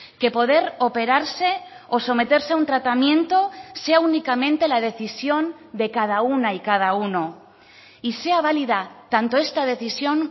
que poder operarse o someterse a un tratamiento sea únicamente la decisión de cada una y cada uno y sea válida tanto esta decisión